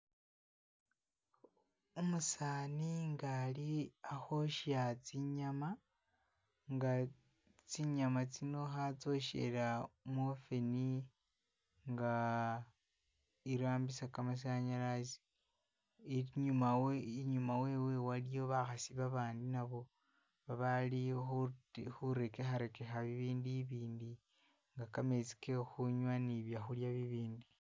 Umusaani nga ali ahosya tsinyama nga tsinyama tsino hatsyoshera mu oven nga irambisa kamasanyalazi, inyuma we inyuma wewe waliyo bahasi babandi nabo babali hute hurekeharekeha bibindu ibindi nga kametsi kehunywa ni byahulya bibindi